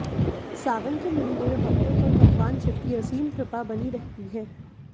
सावन के महीने में भक्तों पर भगवान शिव की असीम कृपा बनी रहती है